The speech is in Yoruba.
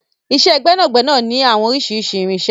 Iṣẹ́ gbẹ́nàgbẹnà ní oríṣiríṣi àwọn irinṣẹ́.